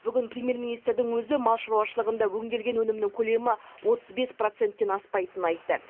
бүгін премьер министрдің өзі мал шаруашылығында өңделген өнімнің көлемі отыз бес проценттен аспайтынын айтты